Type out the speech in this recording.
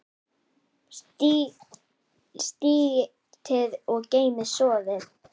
Sigtið og geymið soðið.